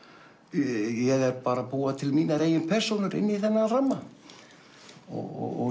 ég er að búa til mínar eigin persónur inn í þennan ramma og